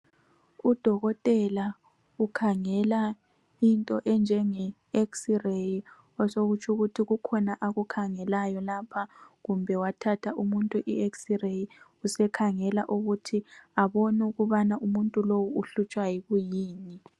Udokotela ukhangela into enjenge x-ray. Osokutsho ukuthi kukhona akukhangelayo lapha. Kumbe wathatha umuntu ix- ray. Usekhangela ukuthi abone ukubana umuntu lowu uhlutshwa yikuyini.